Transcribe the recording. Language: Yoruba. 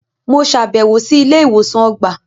Mo ṣabẹwo si ilé-ìwosan ọgbà